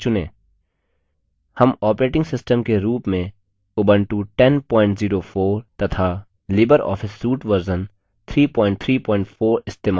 हम operating system के रूप में उबंटू 1004 तथा लिबर ऑफिस suite वर्ज़न 334 इस्तेमाल कर रहे हैं